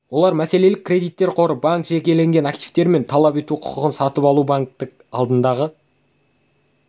олар мәселелік кредиттер қоры банк жекелеген активтері мен талап ету құқығын сатып алуы банктің алдындағы